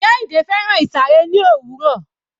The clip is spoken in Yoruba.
Kehinde fẹ́ràn ìsàré ní òwúrọ̀.